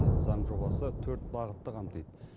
заң жобасы төрт бағытты қамтиды